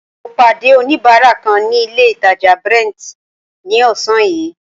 Mo pàdé oníbárà kan ní ilé ìtàjà Brent ní ọ̀sán yìí.